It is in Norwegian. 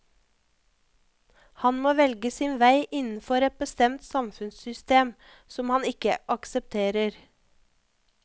Han må velge sin vei innenfor et bestemt samfunnssystem som han ikke aksepterer.